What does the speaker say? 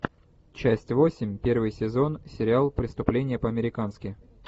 часть восемь первый сезон сериал преступление по американски